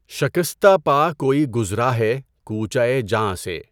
شكستہ پا كوئی گزرا ہے كوچہٴ جاں سے